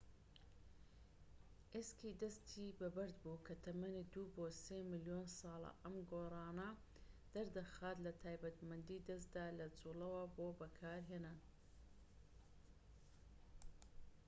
ئێسکی دەستی بەبەردبوو کە تەمەنی دوو بۆ سێ ملیۆن ساڵە ئەم گۆڕانە دەردەخات لە تایبەتمەندی دەستدا لە جوڵەوە بۆ بەکارهێنان